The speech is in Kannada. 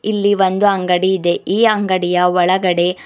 ಇಲ್ಲಿ ಒಂದು ಅಂಗಡಿ ಇದೆ ಈ ಅಂಗಡಿಯ ಒಳಗಡೆ --